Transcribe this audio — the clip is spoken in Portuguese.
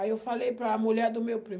Aí eu falei para a mulher do meu primo.